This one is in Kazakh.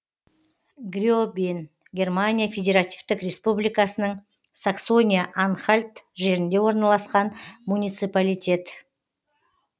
гребен германия федеративтік республикасының саксония анхальт жерінде орналасқан муниципалитет